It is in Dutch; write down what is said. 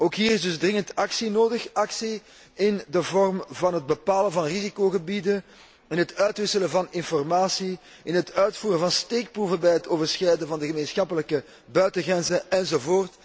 Ook hier is dus dringend actie nodig, actie in de vorm van het bepalen van risicogebieden, in het uitwisselen van informatie, in het uitvoeren van steekproeven bij het overschrijden van de gemeenschappelijke buitengrenzen enz.